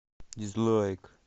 дизлайк